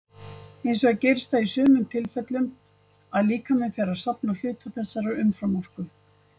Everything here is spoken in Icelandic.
Hins vegar gerist það í sumum tilfellum að líkaminn fer að safna hluta þessarar umframorku.